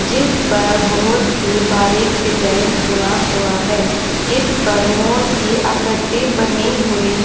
जिस पर बहुत ही बारीक डिजाईन हुआ हुआ है इस पर मोर की आकृति बनी हुई है।